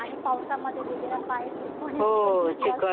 आणि पावसामध्ये वगैरे पाय स्लिप होण्याची पण भीती असते.